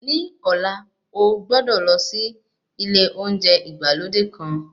Ní ọ̀lá, o gbọ́dọ̀ lọ sí ilé oúnjẹ ìgbàlódé kan.